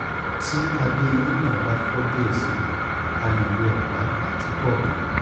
ti adé eyini naa ba fọ diẹ sii a le lo ọpá ati core kan